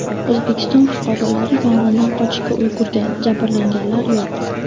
O‘zbekiston fuqarolari yong‘indan qochishga ulgurgan, jabrlanganlar yo‘q.